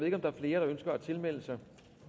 ikke om der er flere der ønsker at tilmelde sig